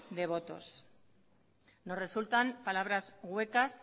de votos nos resultan palabras huecas